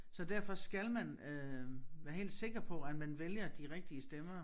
Så derfor skal man øh være helt sikker på at man vælger de rigtige stemmer